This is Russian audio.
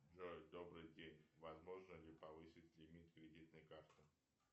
джой добрый день возможно ли повысить лимит кредитной карты